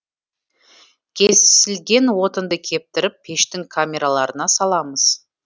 кесілген отынды кептіріп пештің камераларына саламыз